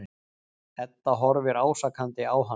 Edda horfir ásakandi á hann.